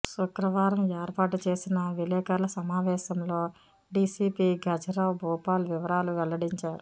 శుక్రవారం ఏర్పాటు చేసిన విలేఖరుల సమావేశంలో డిసిపి గజరావ్ భూపాల్ వివరాలు వెల్లడించారు